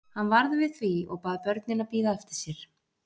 Hann varð við því og bað börnin að bíða eftir sér.